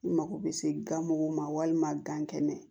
I mago bɛ se gamugu ma walima gan kɛnɛ